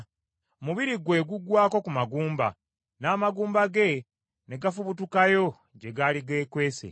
Omubiri gwe gugwako ku magumba, n’amagumba ge ne gafubutukayo gye gaali geekwese,